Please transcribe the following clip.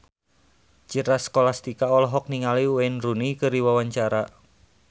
Citra Scholastika olohok ningali Wayne Rooney keur diwawancara